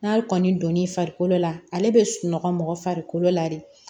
N'a kɔni donn'i farikolo la ale bɛ sunɔgɔ mɔgɔ farikolo la de